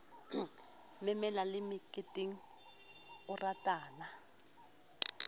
memela le meketeng o ratana